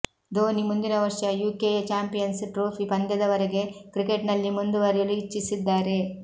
ಧೋನಿ ಮುಂದಿನ ವರ್ಷ ಯುಕೆಯ ಚಾಂಪಿಯನ್ಸ್ ಟ್ರೋಫಿ ಪಂದ್ಯದವರೆಗೆ ಕ್ರಿಕೆಟ್ನಲ್ಲಿ ಮುಂದುವರಿಯಲು ಇಚ್ಛಿಸಿದ್ದಾರೆ